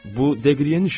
Bu Degryen işidir.